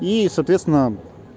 и соответственно